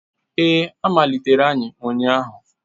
Ee, a malitere anyị ụnyahụ